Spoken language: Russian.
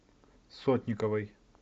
сотниковой